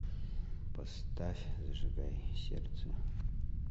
поставь зажигай сердце